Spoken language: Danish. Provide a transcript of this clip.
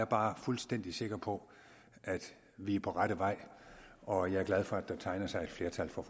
bare fuldstændig sikker på at vi er på rette vej og jeg er glad for at der tegner sig et flertal for